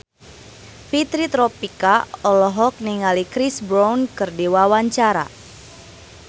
Fitri Tropika olohok ningali Chris Brown keur diwawancara